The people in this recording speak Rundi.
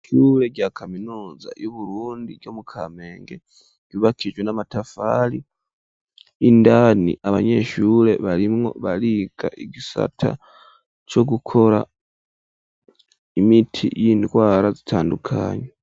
Icure rya kaminuza y'uburundi ryo mu kamenge yubakijwe n'amatafali indani abanyeshure barimwo bariga igisata co gukora imiti y'indwara zitandukanywe.